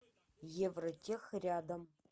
евротех рядом